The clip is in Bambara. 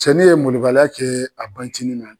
Cɛnnin ye molobaliya kɛ a banciinin na.